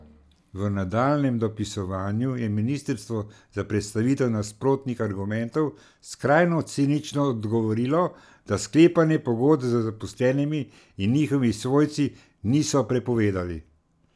V nadaljnjem dopisovanju je ministrstvo na predstavitev nasprotnih argumentov skrajno cinično odgovorilo, da sklepanja pogodb z zaposlenimi in njihovimi svojci niso prepovedali.